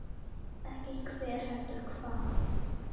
Ekki hver, heldur hvað.